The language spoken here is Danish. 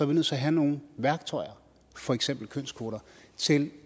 vi nødt til at have nogle værktøjer for eksempel kønskvoter til